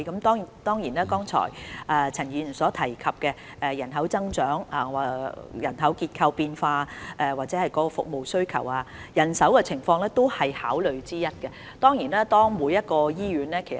當然，就陳議員剛才所提及的人口增長、人口結構變化及服務需求等問題，人手是考慮因素之一。